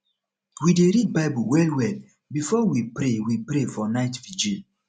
we dey read bible wellwell before we pray we pray for night virgil